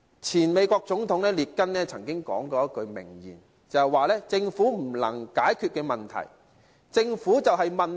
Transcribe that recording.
前美國總統列根曾經說過一句名言："政府不能解決問題，政府本身就是問題"。